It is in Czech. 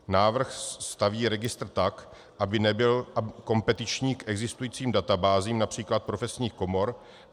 Návrh staví registr tak, aby nebyl kompetiční k existujícím databázím, například profesních komor.